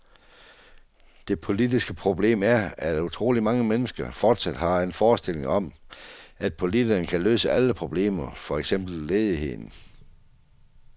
Det politiske problem er, at utrolig mange mennesker fortsat har en forestilling om, at politikerne kan løse alle problemer, for eksempel ledigheden.